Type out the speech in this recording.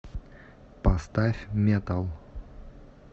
поставь метал